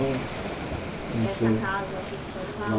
Essa casa aqui de São